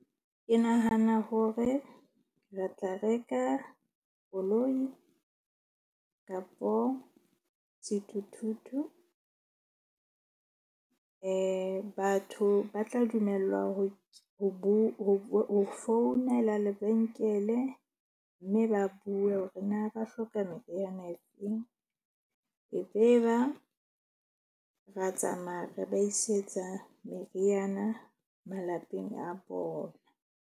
Ke nahana hore re tla reka koloi kapo sethuthuthu. Batho ba tla dumellwa ho founela lebenkele. Mme ba bue hore na ba hloka meriana e feng e be ba ra tsamaya re ba isetsa meriana malapeng a bona.